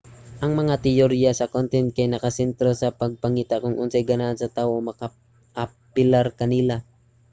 ang mga teyorya sa content kay nakasentro sa pagpangita kon unsa ang ganahan sa tawo o makapaapilar kanila